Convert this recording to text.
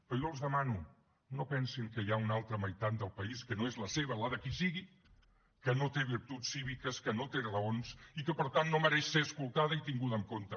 però jo els demano no pensin que hi ha una altra meitat del país que no és la seva la de qui sigui que no té virtuts cíviques que no té raons i que per tant no mereix ser escoltada i tinguda en compte